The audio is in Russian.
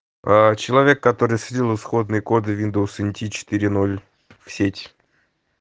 человек который слил исходные коды виндовс нт четыре ноль в сеть